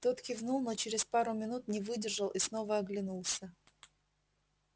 тот кивнул но через пару минут не выдержал и снова оглянулся